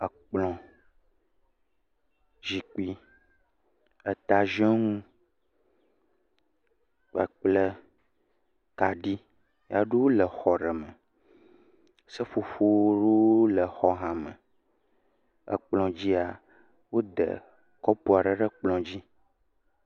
Woɖo atsɔ na exɔ aɖe me kple zikpui ŋkume vovovowo kple ekplɔ aɖewo wo. Eseƒoƒo tata aɖewo le exɔ me eye eseƒoƒo aɖewo hã le exɔ sia me. Kaɖi aɖewo le dziaƒo sike nye atsa kaɖiwo.